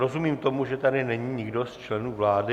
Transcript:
Rozumím tomu, že tady není nikdo z členů vlády.